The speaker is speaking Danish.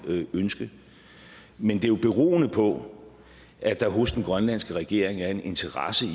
ønske men det er jo beroende på at der hos den grønlandske regering er en interesse